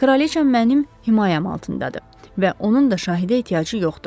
Kraliça mənim himayəm altındadır və onun da şahidə ehtiyacı yoxdur.